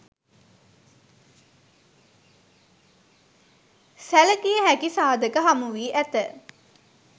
සැලකිය හැකි සාධක හමුවී ඇත.